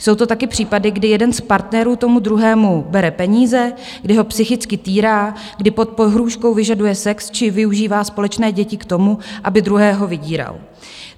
Jsou to taky případy, kdy jeden z partnerů tomu druhému bere peníze, kdy ho psychicky týrá, kdy pod pohrůžkou vyžaduje sex či využívá společné děti k tomu, aby druhého vydíral.